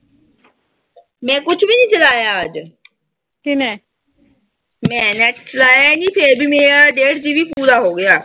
ਮੈਂ ਕੁਛ ਵੀ ਨੀਂ ਚਲਾਇਆ ਅੱਜ। ਮੈਂ ਨੈੱਟ ਚਲਾਇਆ ਈ ਨੀਂ, ਫਿਰ ਵੀ ਮੇਰਾ ਡੇਢ GB ਪੂਰਾ ਹੋ ਗਿਆ।